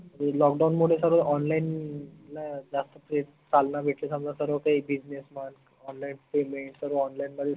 lockdown मुले सर्व online ला जास्त चालना भेटली समजा सर्व काही business म्हन onlinepayment सर्व online मध्ये